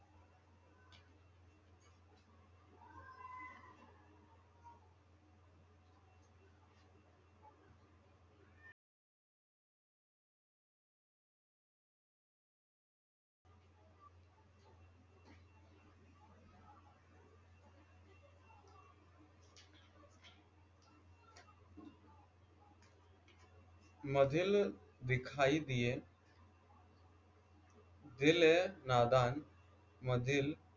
मधील दिखाई दिए दिल ए नादान